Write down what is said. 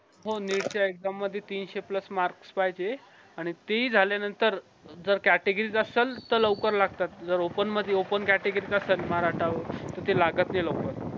हो neet च्या exam मध्ये तीनशे plus marks पाहिजे आणि तेही झाल्या नंतर जर categories असलं तर लवकर लागतात जर open मधी open category चा असणं मराठा तर ते लागत नाई लवकर